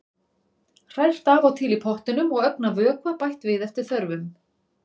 Hrært af og til í pottinum og ögn af vökva bætt við eftir þörfum.